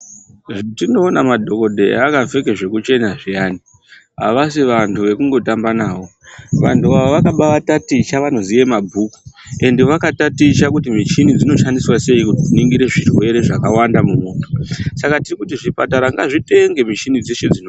Hetinoona madhokodheya akapfeka zvekuchena zviyani, avasi vantu vekungotamba navo, vantu ava vakabaataticha vanoziya mabhuku, ende vakataticha kuti michini dzinoshandiswa seyi, kuningire zvirwere zvakawanda mumuntu, saka tiri kuti zvipatara ngazvitenge michini dzeshe dzinodiwa.